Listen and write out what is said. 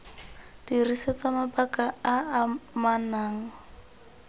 dirisetswa mabaka a a amanang